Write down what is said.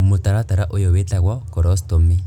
Mũtaratara ũyũ wĩtagwo korostomĩ